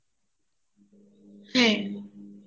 হ্যাঁ